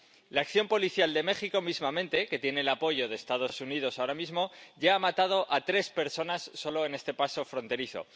La acción policial de México sin ir más lejos, que tiene el apoyo de Estados Unidos ahora mismo, ya ha matado a tres personas solo en este paso fronterizo.